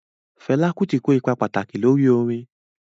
Fẹla Kuti ko ipa pataki lori orin.